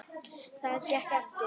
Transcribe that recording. Það gekk eftir.